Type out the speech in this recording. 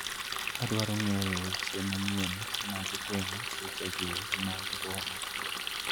Adwaro ng'eyo weche manyien mag ngwen'g sechegi mag boma